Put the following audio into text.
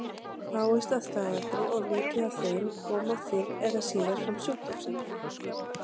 Fáist að staðaldri of lítið af þeim koma fyrr eða síðar fram sjúkdómseinkenni.